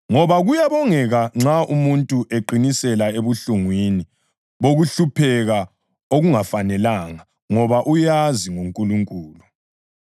Ngoba kuyabongeka nxa umuntu eqinisela ebuhlungwini bokuhlupheka okungafanelanga ngoba uyazi ngoNkulunkulu.